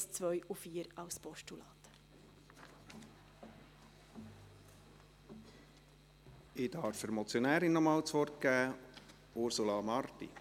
Ich darf der Motionärin, Ursula Marti, noch einmal das Wort geben.